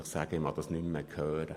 Ich kann es nicht mehr hören!